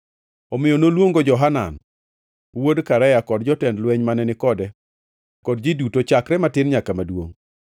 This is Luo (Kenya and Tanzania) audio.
Omiyo noluongo Johanan wuod Karea kod jotend lweny mane ni kode kod ji duto chakre matin nyaka maduongʼ.